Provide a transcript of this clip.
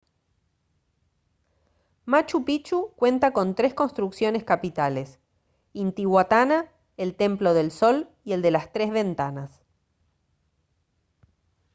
machu picchu cuenta con tres construcciones capitales intihuatana el templo del sol y el de las tres ventanas